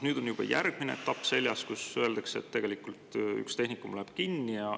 Nüüd on juba järgmine etapp seljas, kus öeldakse, et üks tehnikum läheb kinni.